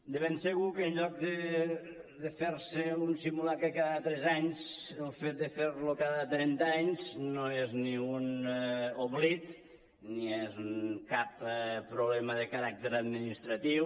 de ben segur que en lloc de fer se un simulacre cada tres anys el fet de ferlo cada trenta anys no és ni un oblit ni és cap problema de caràcter administratiu